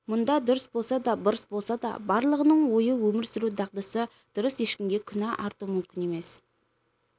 мұнда дұрыс болса да бұрыс болса да барлығының ойы өмір сүру дағдысы дұрыс ешкімге күнә арту мүмкін емес